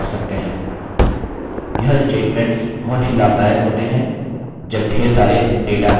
इसी प्रकार से आप अन्य conditional statements को लागू कर सकते हैं और उत्तर जाँच सकते हैं